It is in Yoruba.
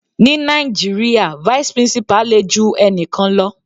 Ní Nàìjíríà vice principal le ju ẹnikan lọ.